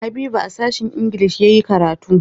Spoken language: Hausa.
Habiba a sashen ingilishi ya yi karatu.